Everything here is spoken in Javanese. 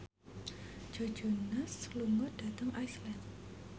Joe Jonas lunga dhateng Iceland